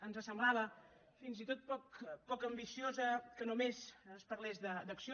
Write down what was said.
ens semblava fins i tot poc ambiciós que només es parlés d’acció